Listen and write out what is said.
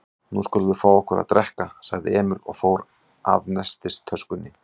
Nú skulum við fá okkur að drekka, sagði Emil og fór að nestistöskunni.